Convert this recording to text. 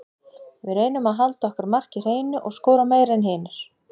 Við reynum að halda okkar marki hreinu og skora meira en hinir.